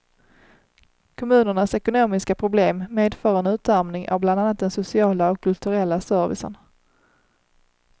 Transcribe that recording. Kommunernas ekonomiska problem medför en utarmning av bland annat den sociala och kulturella servicen.